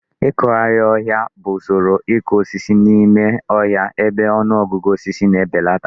Ịkụgharị ọhịa bụ usoro ịkụ osisi n'ime ọhịa ebe ọnụ ọgụgụ osisi na-ebelata.